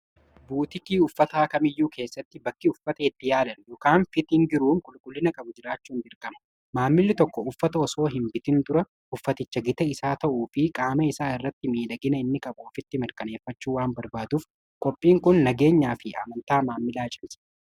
buutikii uffata akamiyyuu keessatti bakkii uffata itti yaadan yokaan fitiin giruun qulqullina qabu jiraachuu hin birkama maammili tokko uffata osoo hin bitin dura uffaticha gita isaa ta'uu fi qaama isaa irratti miidhagina inni qaphoofitti mirqaneeffachuu waan barbaaduuf qophiin kun nageenyaa fi amantaa maammilaa cimse